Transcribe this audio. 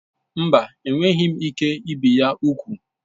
Mba, enweghị m ike ibi ya úgwù.